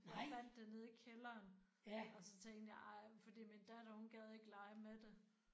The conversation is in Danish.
Jeg fandt det nede i kælderen og så tænkte jeg ej fordi min datter hun gad ikke lege med det